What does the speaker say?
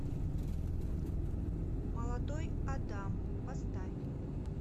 молодой адам поставь